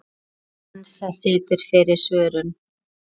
Hansa situr fyrir svörum.